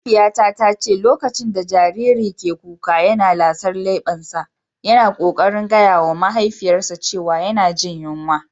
Mahaifiyata ta ce lokacin da jariri ke kuka yana lasar lebbansa, yana kokarin gaya wa mahaifiyar cewa yana jin yunwa.